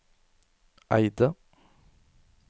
Eide